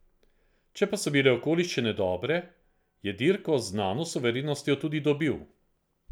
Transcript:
Če pa so bile okoliščine dobre, je dirko z znano suverenostjo tudi dobil.